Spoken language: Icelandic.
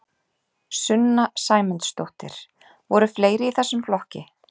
Sunna Sæmundsdóttir: Voru fleiri í þessum flokki?